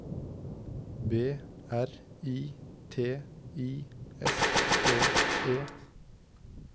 B R I T I S K E